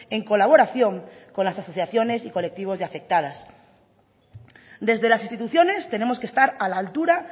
en colaboración con las asociaciones y colectivos de afectadas desde las instituciones tenemos que estar a la altura